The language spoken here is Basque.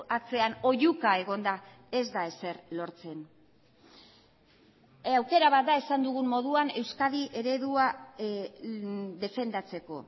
atzean oihuka egon da ez da ezer lortzen aukera bat da esan dugun moduan euskadi eredua defendatzeko